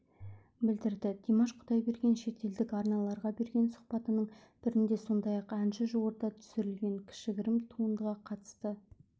білдірді димаш құдайберген шетелдік арналарға берген сұхбатының бірінде сондай-ақ әнші жуырда түсірілген кішігірім туындыға қатысты